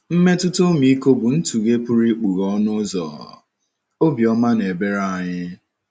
Mmetụta ọmịiko bụ ntụghe pụrụ ịkpọghe ọnụ ụzọ obiọma na ebere anyị.